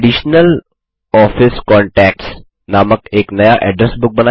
additional office contacts नामक एक नया एड्रेस बुक बनाएँ